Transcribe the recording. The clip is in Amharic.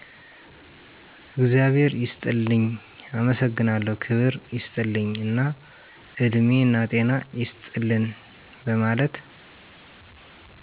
እግዛብሔር ይስጥልኝ፣ አመሠግናለሁ፣ ክብር ይስጥልኝ እና እድሜናጤና ይስጥልን በመለት